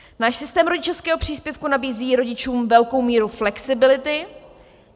Náš systém rodičovského příspěvku nabízí rodičům velkou míru flexibility.